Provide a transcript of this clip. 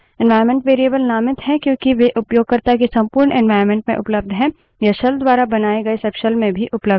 environment variables नामित हैं क्योंकि वे उपयोगकर्ता के संपूर्ण environment में उपलब्ध हैं